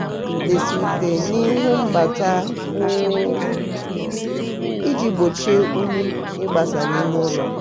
ha na-edesa ute n'ihu mbata ụlọ iji gbochie unyi ịgbasa n'ime ụlọ.